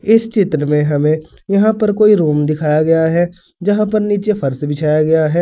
इस चित्र में हमें यहां पर कोई रूम दिखाया गया है जहाँ पर नीचे फर्श बिछाया गया है।